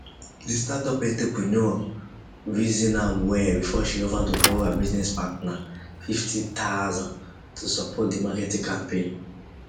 the startup entrepreneur reason am well before she offer to borrow her business partner fifty thousand to support the marketing campaign